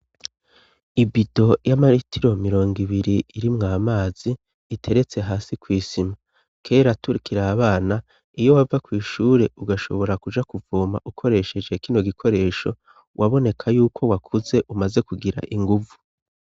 Ibido y'amaritiro mirongo ibiri irimwo amazi iteretse hasi kw'isima, kera turikire abana iyo wava ku ishure ugashobora kuja kuvoma ukoresheje kino gikoresho waboneka yuko wakuze umaze kugira inguvu.